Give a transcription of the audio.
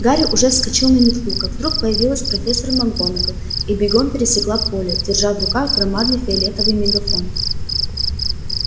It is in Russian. гарри уже вскочил на метлу как вдруг появилась профессор макгонагалл и бегом пересекла поле держа в руках громадный фиолетовый мегафон